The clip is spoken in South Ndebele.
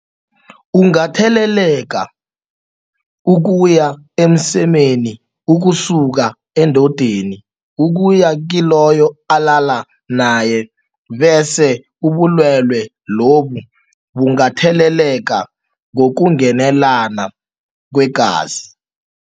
Ungatheleleka ukuya emsemeni ukusuka endodeni ukuya kiloyo alala nayebese ubulwelwe lobu bungatheleleka ngokungenelana kweengazi.